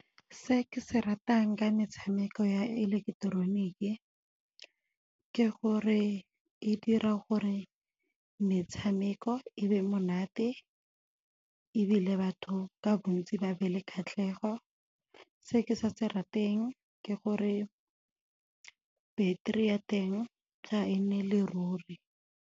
Se ke se ratang ka metshameko ya ileketeroniki ke gore e dira gore metshameko e be monate ebile batho ka bontsi ba be le kgatlhego. Se ke sa se rateng ke gore battery ya teng ga e neele ruri.